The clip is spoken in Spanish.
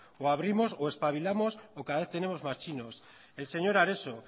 o abrimos o espabilamos o cada vez tenemos más chinos el señor areso